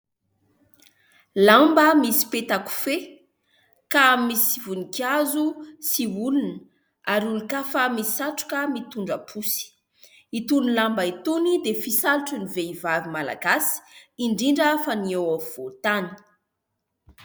Lamba misy peta-kofehy ka misy voninkazo sy olona ary olon-kafa misy satroka mitondra posy, itony lamba itony dia fisalotra ny vehivavy Malagasy indrindra fa ny eo afovoan-tany.